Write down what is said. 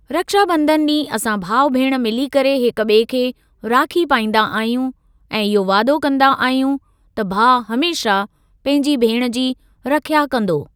रक्षाबंधन ॾींहुं असां भाउ भेण मिली करे हिक ॿिए खे राखी पाईंदा आहियूं ऐं इहो वादो कंदा आहियूं त भाउ हमेशह पंहिंजी भेण जी रिख्या कंदो।